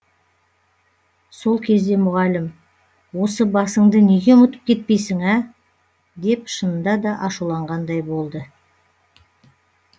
сол кезде мұғалім осы басыңды неге ұмытып кетпейсің ә деп шынында да ашуланғандай болды